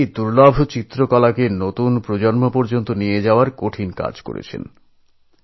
তিনি এই দুর্লভ শিল্পকে নতুন প্রজন্মের কাছে পৌঁছে দিতে এক অসাধারণ কাজ করেছেন